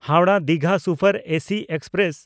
Howrah Digha super AC express